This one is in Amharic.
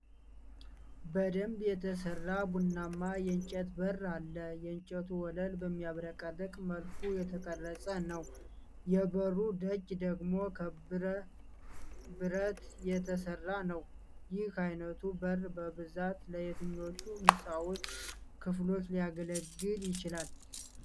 በደንብ የተሠራ ቡናማ የእንጨት በር አለ። የእንጨቱ ወለል በሚያብረቀርቅ መልኩ የተቀረጸ ነው፤ የበሩ ደጅ ደግሞ ከብር ብረት የተሠራ ነው። ይህ ዓይነቱ በር በብዛት ለየትኞቹ የሕንፃዎች ክፍሎች ሊያገለግል ይችላል?